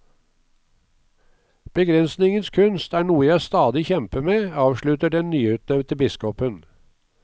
Begrensningens kunst er noe jeg stadig kjemper med, avslutter den nyutnevnte biskopen.